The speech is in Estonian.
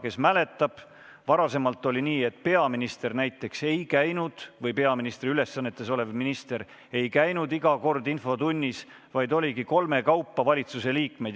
Kes mäletab, see teab, et varem oli nii, et peaminister või peaministri ülesandeid täitev minister ei käinud iga kord infotunnis, kohal oli kolm valitsusliiget.